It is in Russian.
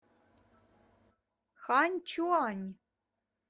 ханьчуань